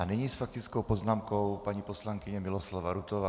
A nyní s faktickou poznámkou paní poslankyně Miloslava Rutová.